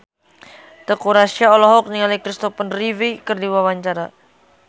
Teuku Rassya olohok ningali Kristopher Reeve keur diwawancara